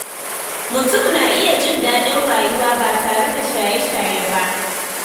Mutum na iya jin daɗin rayuwa ba tare da shaye-shaye ba.